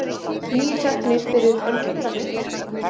Níu teknir fyrir ölvunarakstur